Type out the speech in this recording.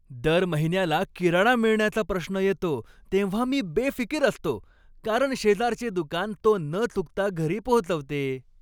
दर महिन्याला किराणा मिळण्याचा प्रश्न येतो तेव्हा मी बेफिकीर असतो, कारण शेजारचे दुकान तो न चुकता घरी पोचवते.